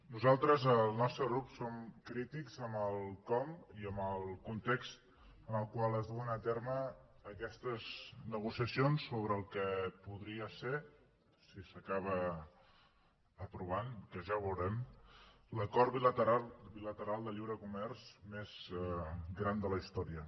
nosaltres el nostre grup som crítics amb el com i amb el context en el qual es duen a terme aquestes negociacions sobre el que podria ser si s’acaba aprovant que ja ho veurem l’acord bilateral de lliure comerç més gran de la història